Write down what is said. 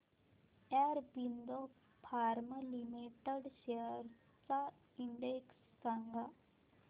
Aurobindo pharma limited shares चा index सांगा